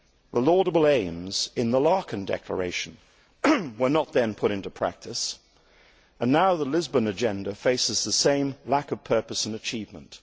The laudable aims in the Laeken Declaration were not then put into practice, and now the Lisbon Agenda faces the same lack of purpose and achievement.